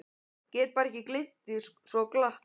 Get bara ekki gleymt því svo glatt.